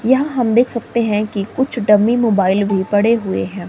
यहां हम देख सकते हैं कि कुछ डमी मोबाइल भी पड़े हुए हैं।